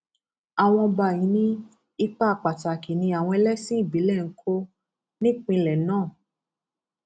àwọn ọba yìí ní ipa pàtàkì ni àwọn ẹlẹsìn ìbílẹ ń kó nípínlẹ náà